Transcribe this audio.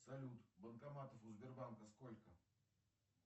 салют банкоматов у сбербанка сколько